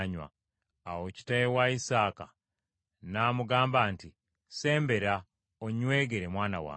Awo kitaawe Isaaka n’amugamba nti, “Sembera onnywegere mwana wange.”